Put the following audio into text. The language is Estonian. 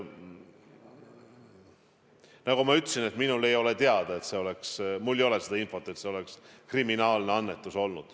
Nagu ma ütlesin, minule ei ole teada, mul ei ole infot, et see oleks olnud kriminaalne annetus.